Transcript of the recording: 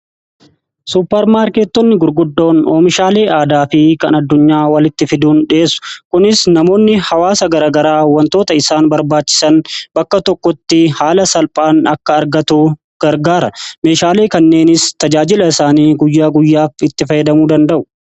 Supparmaarkeetonni gurguddoon oomishaalee aadaa fi kan addunyaa walitti fiduun dhi'eessu. Kunis namoonni hawaasa garagaraa wantoota isaan barbaachisan bakka tokkotti haala salphaan akka argatu gargaara. Meeshaalee kanneenis tajaajila isaanii guyyaa guyyaatti itti fayyadamuu danda'u.